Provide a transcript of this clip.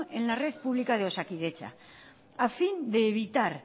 en la red pública de osakidetza a fin de evitar